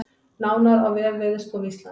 Nánar á vef Veðurstofu Íslands